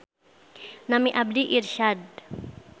Nami abdi Irsyad.